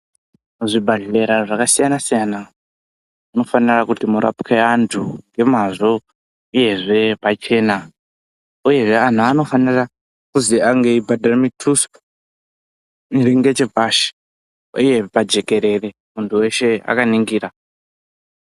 Zvibhedhlera zvakasiyana-siyana munofanira kuti murapwe antu ngemazvo, uyezve pachena, uyezve antu anofanira kuzwi ange eibhadhara mutuso iri ngechepashi uye pajekerere muntu weshe akaningira.